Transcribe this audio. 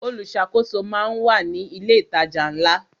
Olùṣàkóso máa ń wà ní ilé ìtajà ńlá.